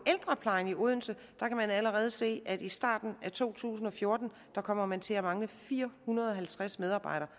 ældreplejen i odense kan man allerede se at i starten af to tusind og fjorten kommer man til at mangle fire hundrede og halvtreds medarbejdere